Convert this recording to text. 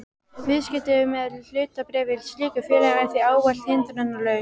Viðskipti með hlutabréf í slíkum félögum er því ávallt hindrunarlaus.